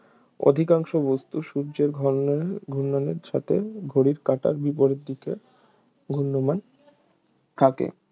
অধিকাংশ বস্তু সূর্যের ঘর্ণন ঘূর্ণনের সাথে ঘড়ির কাঁটার বিপরীত দিকে ঘূর্ণমান থাকে